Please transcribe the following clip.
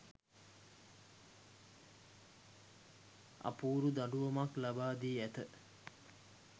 අපූරු දඬුවමක් ලබාදී ඇත